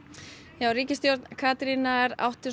já ríkisstjórn Katrínar átti